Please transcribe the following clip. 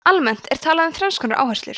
almennt er talað um þrenns konar áherslur